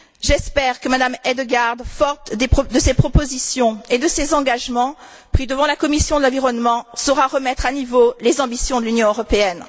J'espère que M me Hedegaard, forte de ses propositions et de ses engagements pris devant la commission de l'environnement, saura remettre à niveau les ambitions de l'Union européenne.